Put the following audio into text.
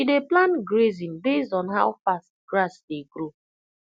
she dey plan grazing based on how fast grass dey grow